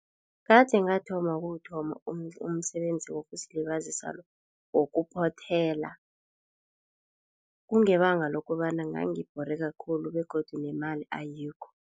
Kade ngathoma ukuwuthoma umsebenzi wokuzilibazisa lo, wokuphothela kungebanga lokobana ngangibhoreka khulu begodu nemali ayikho.